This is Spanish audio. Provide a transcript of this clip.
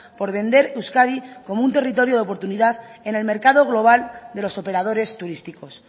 por vender euskadi como un territorio de oportunidad en el mercado global de los operadores turísticos